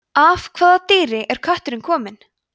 af hvaða dýri er kötturinn kominn